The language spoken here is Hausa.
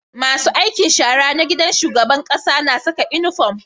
Masu aikin shara na gidan shugaban ƙasa na Saka inufom